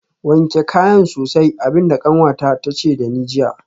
Wanke kayan sosai abin da kanwata ta ce da ni jiya